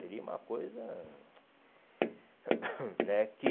Seria uma coisa... né, que...